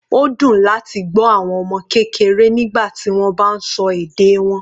Ó dùn láti gbọ́ àwọn ọmọ kékeré nígbà tí wọ́n bá sọ èdè wọn.